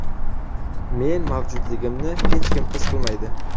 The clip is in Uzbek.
Men mavjudligimni hech kim his qilmaydi.